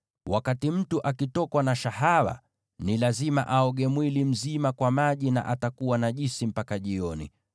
“ ‘Wakati mtu akitokwa na shahawa, ni lazima aoge mwili mzima kwa maji, na atakuwa najisi mpaka jioni.